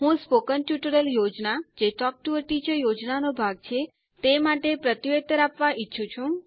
હું spoken tutorial યોજના જે ટોક ટુ અ ટીચર યોજના નો ભાગ છે તે માટે પ્રત્યુત્તર આપવા ઈચ્છું છું